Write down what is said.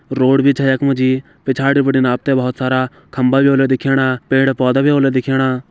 रोड बि छै यक मजी। पिछाड़ि बटिन आपते बोहोत सारा खम्भा बि होलो दिखेणा पेड़ पौधा बि होला दिखेणा।